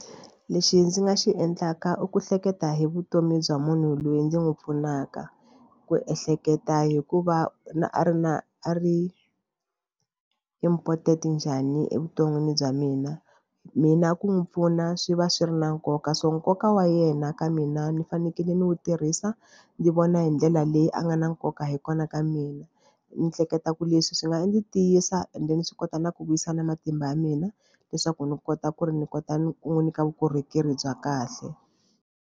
Lexi ndzi nga xi endlaka i ku hleketa hi vutomi bya munhu loyi ndzi n'wi pfunaka ku ehleketa hikuva na a ri na a ri important njhani evuton'wini bya mina. Mina ku n'wi pfuna swi va swi ri na nkoka so nkoka wa yena ka mina ni fanekele ni wu tirhisa ndzi vona hi ndlela leyi a nga na nkoka hi kona ka mina ni hleketa ku leswi swi nga ni tiyisa and then ni swi kota na ku vuyisa na matimba ya mina leswaku ni kota ku ri ni kota ni ku n'wi nyika vukorhokeri bya kahle.